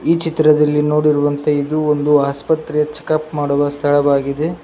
ಈ ಚಿತ್ರದಲ್ಲಿ ನೋಡಿರುವಂತೆ ಇದು ಒಂದು ಆಸ್ಪತ್ರೆ ಚೆಕ್ ಅಪ್ ಮಾಡುವ ಸ್ಥಳವಾಗಿದೆ.